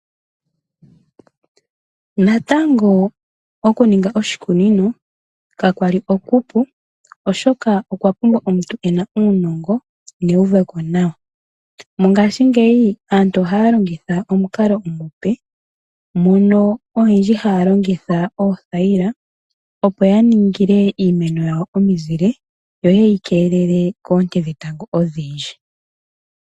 Natango okuninga oshikunino, ka kwali okupu oshoka okwa pumbwa omuntu ena uunongo neuveko nawa. Ngaashingeyi aantu oha ya longitha omukalo omupe, mono oyendji ha ya longitha oothayila, opo ya ningile iimeno yawo omizile, yo ye yi keelele koonte dhetango odhindji.